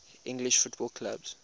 english football clubs